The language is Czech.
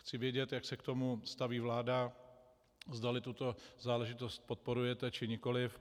Chci vědět, jak se k tomu staví vláda, zdali tuto záležitost podporujete, či nikoliv.